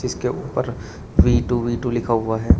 के ऊपर V two V two लिखा हुआ है।